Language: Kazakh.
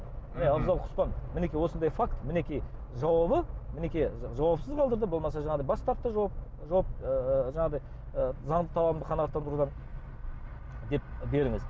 міне абзал құспан мінекей осындай факт мінекей жауабы мінекей жауапсыз қалдырды болмаса жаңағыдай бас тартты ыыы жаңағыдай ы занды талабымды қанағаттандырудан деп беріңіз